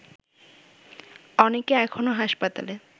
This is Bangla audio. অনেকে এখনো হাসপাতালে